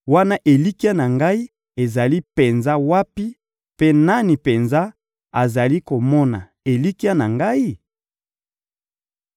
wana elikya na ngai ezali penza wapi, mpe nani penza azali komona elikya na ngai?